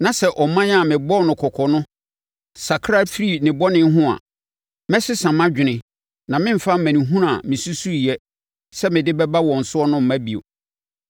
na sɛ ɔman a mebɔɔ no kɔkɔ no sakra firi ne bɔne ho a, mɛsesa mʼadwene na meremfa amanehunu a mesusuiɛ sɛ me de bɛba wɔn so mma bio.